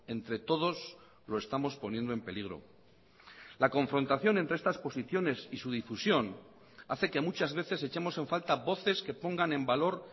entre todos lo estamos poniendo en peligro la confrontación entre estas posiciones y su difusión hace que muchas veces echemos en falta voces que pongan en valor